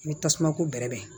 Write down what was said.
I bɛ tasumako bɛrɛ bɛn